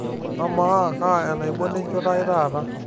amaa kaa enaibon enchoto ai taata